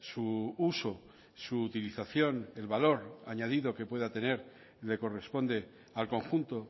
su uso su utilización el valor añadido que pueda tener le corresponde al conjunto